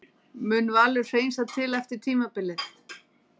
Mun Valur hreinsa til eftir tímabilið?